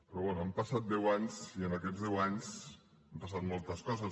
però bé han passat deu anys i en aquests deu anys han passat moltes coses